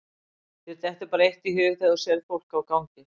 Þér dettur bara eitt í hug þegar þú sérð fólk á gangi.